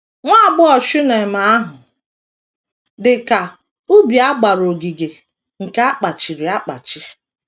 Nwa agbọghọ Shunem ahụ dị ka “ ubi a gbara ogige nke a kpachiri akpachi ”